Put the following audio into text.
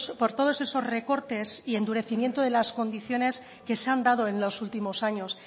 por todos esos recortes y endurecimiento de las condiciones que se han dado en los últimos años